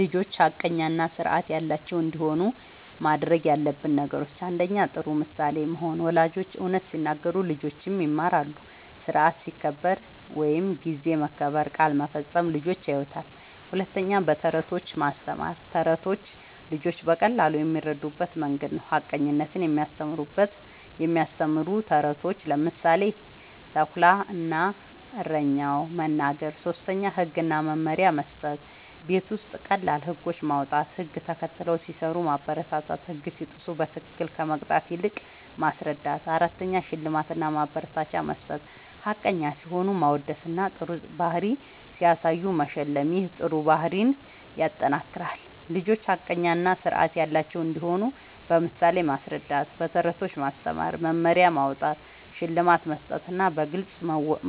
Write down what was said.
ልጆች ሐቀኛ እና ስርዓት ያላቸው እንዲሆኑ ማድረግ ያለብን ነገሮችን፦ ፩. ጥሩ ምሳሌ መሆን፦ ወላጆች እውነት ሲናገሩ ልጆችም ይማራሉ። ስርዓት ሲከበር (ጊዜ መከበር፣ ቃል መፈጸም) ልጆች ያዩታል። ፪. በተረቶች ማስተማር፦ ተረቶች ልጆች በቀላሉ የሚረዱበት መንገድ ነዉ። ሐቀኝነትን የሚያስተምሩ ተረቶችን (ምሳሌ፦ “ተኩላ እና እረኛው”) መናገር። ፫. ህግ እና መመሪያ መስጠት፦ ቤት ውስጥ ቀላል ህጎች ማዉጣት፣ ህግ ተከትለው ሲሰሩ ማበረታታትና ህግ ሲጥሱ በትክክል ከመቅጣት ይልቅ ማስረዳት ፬. ሽልማት እና ማበረታቻ መስጠት፦ ሐቀኛ ሲሆኑ ማወደስና ጥሩ ባህሪ ሲያሳዩ መሸለም ይህ ጥሩ ባህሪን ያጠናክራል። ልጆች ሐቀኛ እና ስርዓት ያላቸው እንዲሆኑ በምሳሌ ማስረዳት፣ በተረቶች ማስተማር፣ መመሪያ ማዉጣት፣ ሽልማት መስጠትና በግልጽ